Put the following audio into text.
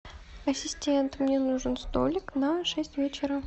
ассистент мне нужен столик на шесть вечера